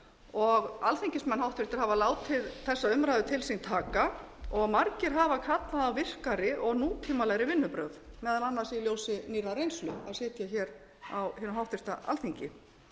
og háttvirtir alþingismenn hafa látið þessa umræðu til sín taka og margir hafa kallað á virkari og nútímalegri vinnubrögð meðal annars í ljósi nýrrar reynslu af að sitja hér hinu háttvirta alþingi